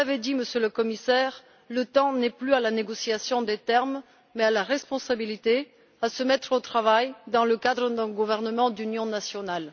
Comme vous l'avez dit, Monsieur le Commissaire, le temps n'est plus à la négociation des termes mais à la responsabilité, à se mettre au travail dans le cadre d'un gouvernement d'union nationale.